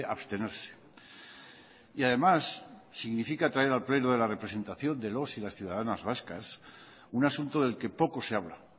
abstenerse y además significa traer al pleno de la representación de los y las ciudadanas vascas un asunto del que poco se habla